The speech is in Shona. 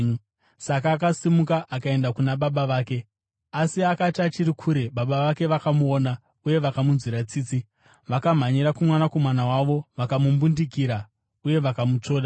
Saka akasimuka akaenda kuna baba vake. “Asi akati achiri kure, baba vake vakamuona uye vakamunzwira tsitsi; vakamhanyira kumwanakomana wavo, vakamumbundikira uye vakamutsvoda.